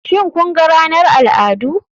Shin kun ga ranar al'adu.